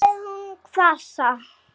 svaraði hún hvasst.